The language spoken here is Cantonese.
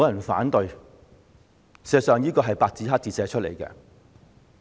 事實上，這也是白紙黑字列明的。